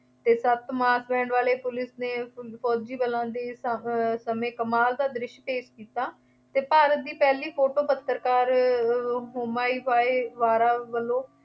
ਸੱਤ mass band ਵਾਲੇ police ਨੇ ਫੌਜੀ ਬਲਾਂ ਦੇ ਅਹ ਸਮੇਂ ਕਮਾਲ ਦਾ ਦ੍ਰਿਸ਼ ਪੇਸ਼ ਕੀਤਾ ਅਤੇ ਭਾਰਤ ਦੀ ਪਹਿਲੀ ਫੋਟੋ ਪੱਤਰਕਾਰ ਹੋਮਾਇਵਿਆਰਵਾਲਾ ਵੱਲੋਂ